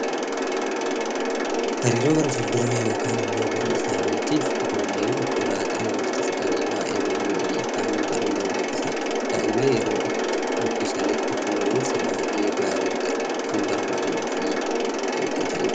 Hariiroo gara fulduraa yookaan immoo boruu isaaniitiif ijoolleen obbolaa ta'an walitti siqanii waa'ee walii, walii isaanii baruun barbaachisaadha. Daa'imman yeroo itti guddisanitti kunuunsa baayyee gaarii ta'e kan barbaadanii fi eeggatanidha.